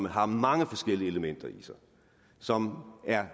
har mange forskellige elementer i sig og som